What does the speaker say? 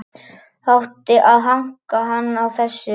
Það átti að hanka hann á þessu.